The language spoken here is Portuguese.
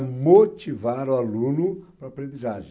motivar o aluno para a aprendizagem.